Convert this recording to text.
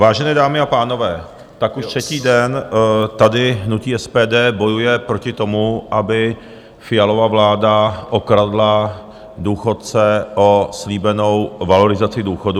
Vážené dámy a pánové, tak už třetí den tady hnutí SPD bojuje proti tomu, aby Fialova vláda okradla důchodce o slíbenou valorizaci důchodů.